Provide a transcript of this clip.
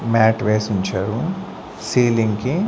Mat వేసి ఉంచారు ceiling కి.